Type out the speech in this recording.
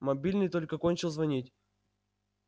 мобильный только кончил звонить